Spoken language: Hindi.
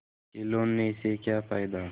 खिलौने से क्या फ़ायदा